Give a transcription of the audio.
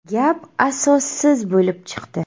Gap asossiz bo‘lib chiqdi.